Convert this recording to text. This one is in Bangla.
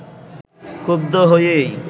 ক্ষুব্ধ হয়েই